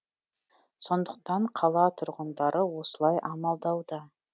сондықтан қала тұрғындары осылай амалдауда